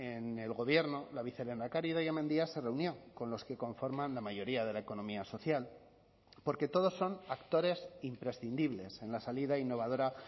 en el gobierno la vicelehendakari idoia mendia se reunió con los que conforman la mayoría de la economía social porque todos son actores imprescindibles en la salida innovadora